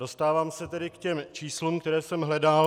Dostávám se tedy k těm číslům, které jsem hledal.